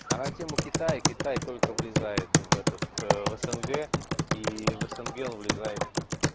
а на тему китай китай только влезает в этот в снг и в снг влезает